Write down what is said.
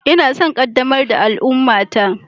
Ina son ƙaddamar da al'ummata.